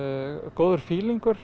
góður